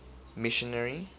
missionary